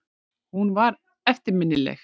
Hún var eftirminnileg.